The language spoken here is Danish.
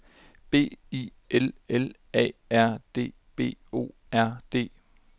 B I L L A R D B O R D